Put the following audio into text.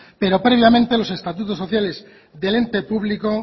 pero previamente los estatutos sociales del ente público